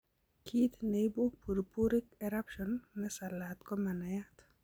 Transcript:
Kiit neibu purpuric eruption nesalaat komanaiyat